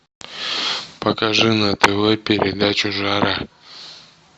покажи на тв передачу жара